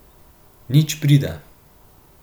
Nič prida?